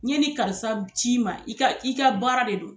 N ye ni karisa c'i ma i ka i ka baara de do.